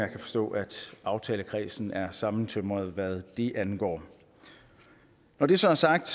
kan forstå at aftalekredsen er sammentømret hvad det angår når det så er sagt